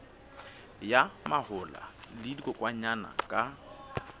ya mahola le dikokwanyana ka